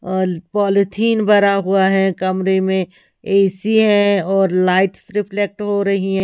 ओल पॉलिथीन भरा हुआ है कमरे में ए_सी है और लाइट्स रिफ्लेक्ट हो रही हैं।